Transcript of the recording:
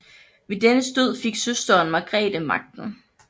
Ved dennes død fik søsteren Margrete magten